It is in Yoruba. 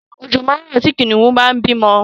Ọ̀jọ̀ máa rọ̀ tí Kìnìún bá ń bímọ